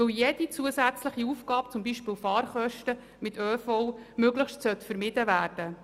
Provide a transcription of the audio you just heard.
Denn jede zusätzliche Ausgabe – zum Beispiel Fahrkosten mit ÖV – sollte nach Möglichkeit vermieden werden.